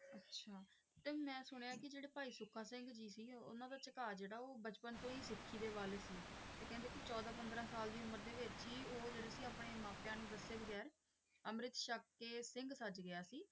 ਅੱਛਾ ਤੇ ਮੈਂ ਸੁਣਿਆ ਕਿ ਜਿਹੜੇ ਭਾਈ ਸੁੱਖਾ ਸਿੰਘ ਜੀ ਸੀ ਉਨ੍ਹਾਂ ਦਾ ਝੁਕਾਅ ਜਿਹੜਾ ਉਹ ਬਚਪਨ ਤੋਂ ਹੀ ਸਿੱਖੀ ਦੇ ਵੱਲ ਸੀ। ਤੇ ਕਹਿੰਦੇ ਕਿ ਚੋਦਾਂ -ਪੰਦਰਾਂ ਸਾਲ ਦੀ ਉਮਰ ਦੇ ਵਿਚ ਹੀ ਉਹ ਜਿਹੜੇ ਸੀ ਆਪਣੇ ਮਾਪਿਆਂ ਨੂੰ ਦੱਸੇ ਬਗੈਰ ਅੰਮ੍ਰਿਤ ਛੱਕ ਕੇ ਸਿੰਘ ਸੱਜ ਗਿਆ ਸੀ ।